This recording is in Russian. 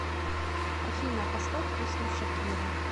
афина поставь песню шакира